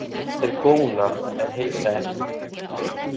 Þeir góna en heilsa ekki.